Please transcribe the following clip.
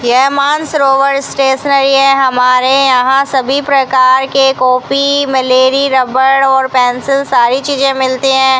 यह मान सरोवर स्टेशनरी है हमारे यहां सभी प्रकार के कॉपी मलेरी रबर और पेंसिल सारी चीजें मिलती हैं।